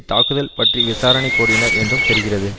தாக்குதல் பற்றி விசாரணை கோரினர் என்றும் தெரிகிறது